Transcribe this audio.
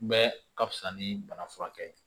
Bɛɛ ka fisa ni bana furakɛ ye